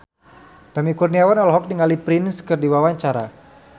Tommy Kurniawan olohok ningali Prince keur diwawancara